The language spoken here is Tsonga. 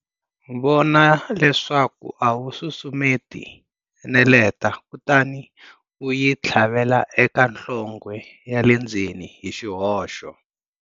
Vona leswaku a wu susumeti neleta kutani u yi tlhavela eka nhlonghe ya le ndzeni, hi xihoxo.